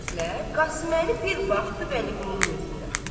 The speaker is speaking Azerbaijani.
Bu sözlə Qasım Əli bir baxdı Vəliqulunun üzünə.